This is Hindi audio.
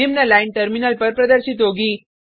निम्न लाइन टर्मिनल पर प्रदर्शित होगी